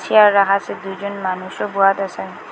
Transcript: Chair রাখা আসে দুইজন মানুষও বোয়াদ আসে।